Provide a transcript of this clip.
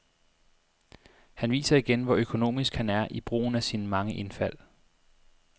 Han viser igen, hvor økonomisk han er i brugen af sine mange indfald.